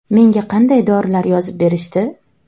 Menga qanday dorilar yozib berishdi?